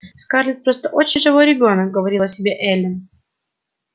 скарлетт просто очень живой ребёнок говорила себе эллин